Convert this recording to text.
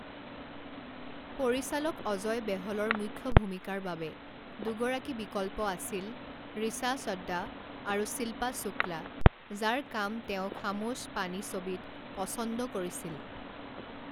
পৰিচালক অজয় বেহলৰ মুখ্য ভূমিকাৰ বাবে দুগৰাকী বিকল্প আছিল, ৰিচা চড্ডা আৰু শিল্পা শুক্লা, যাৰ কাম তেওঁ খামোশ পানী ছবিত পছন্দ কৰিছিল।